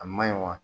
A ma ɲi wa